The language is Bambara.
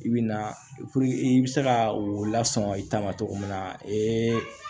I bi na i bi se ka o lasɔ i ta ma cogo min na